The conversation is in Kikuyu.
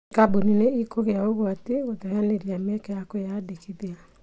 Kambuni nĩikũgĩa ũgwati gũteyanĩria mĩeke ya kũĩyandĩkithia